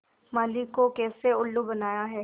माली को कैसे उल्लू बनाया है